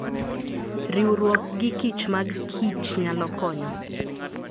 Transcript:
Riwruok gikich mag kichnyalo konyo.